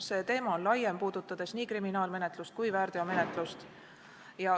See teema on laiem ja puudutab nii kriminaalmenetlust kui ka väärteomenetlust.